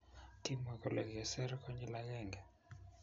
Kimwa kole keser konyil agenge